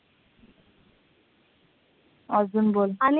अजून बोल.